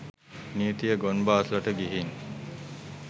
නීතිය ගොන් බාස්ලට ගිහින්